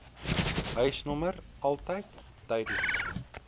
huisnommer altyd duidelik